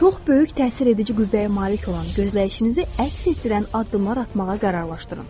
Çox böyük təsir edici qüvvəyə malik olan gözləyişinizi əks etdirən addımlar atmağa qərarlaşdırın.